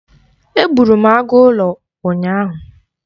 Egburu m agụ ụlọ ụnyaahụ.